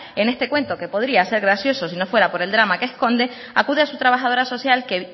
en este cuento que podría ser gracioso sino fuera por el drama que esconde acude a su trabajadora social que